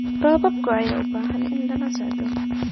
Roobabka ayaa u baahan in lala socdo.